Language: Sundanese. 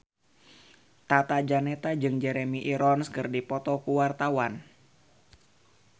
Tata Janeta jeung Jeremy Irons keur dipoto ku wartawan